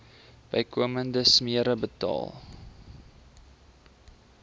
bykomende smere betaal